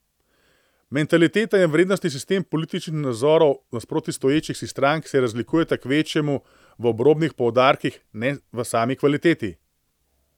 Mentaliteta in vrednostni sistem političnih nazorov nasproti stoječih si strank se razlikujeta kvečjemu v obrobnih poudarkih, ne v sami kvaliteti.